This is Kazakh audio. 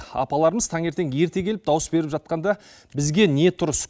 апаларымыз таңертең ерте келіп дауыс беріп жатқанда бізге не тұрыс